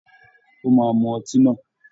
He will drink it the wine